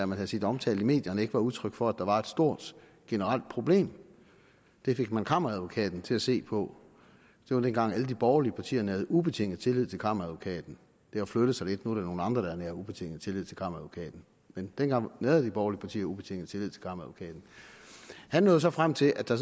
man havde set omtalt i medierne ikke var udtryk for at der var et stort generelt problem det fik man kammeradvokaten til at se på det var dengang hvor alle de borgerlige partier nærede ubetinget tillid til kammeradvokaten det har flyttet sig lidt nu er det nogle andre der nærer ubetinget tillid til kammeradvokaten men dengang nærede de borgerlige partier ubetinget tillid til kammeradvokaten han nåede så frem til at der